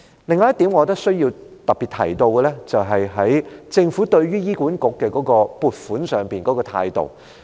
另一點我認為需要特別提到的是，政府對於醫管局的撥款上的態度。